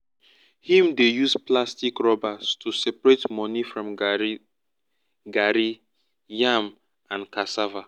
him dey use plastic rubbers to separate money from garri garri yam and cassava